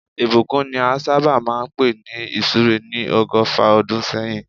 Ìbùkún ni a sábà máa ń pè ní ìsúre ní ọgọ́fà ọdún sẹ́yìn